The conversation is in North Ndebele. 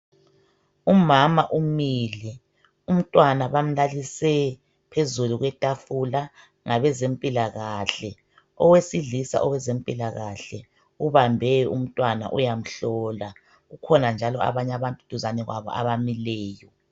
Umama umile, umntwana bamlalise phezulu kwetafula ngabezemilakahle. Owesilisa owezempilakahle ubambe umntwana uyamhlola. Kukhona njalo abanye abantu duzane kwabo abamileyo.